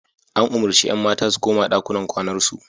An umurci 'yan mata su koma ɗakunan kwanar su.